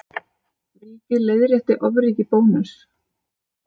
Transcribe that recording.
Ríkið leiðrétti ofríki Bónuss